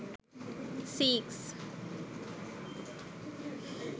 seex